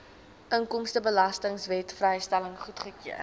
inkomstebelastingwet vrystelling goedgekeur